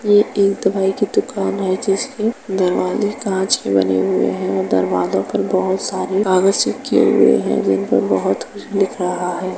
यह एक दवाई की दुकान है जिसके दरवाजे काँच के बने हुए हैं। दरवाजो पर बहोत सारे कागज चिपके हुए हैं जिन पर बहोत कुछ लिख रहा हैं।